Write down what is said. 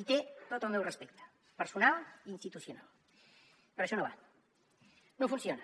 i té tot el meu respecte personal i institucional però això no va no funciona